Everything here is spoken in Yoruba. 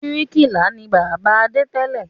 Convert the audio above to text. Bíríkìlà ni bàbá Adé tẹ́lẹ̀